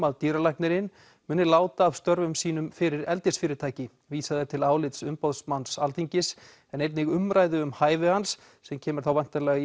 að dýralæknirinn muni láta af störfum sínum fyrir eldisfyrirtæki vísað er til álits umboðsmanns Alþingis en einnig umræðu um hæfi hans sem kemur þá væntanlega í